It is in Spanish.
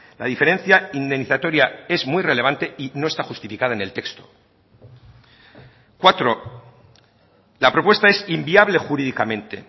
la diferencia indemnizatoria es muy relevante y no está justificada en el texto cuatro la propuesta es inviable jurídicamente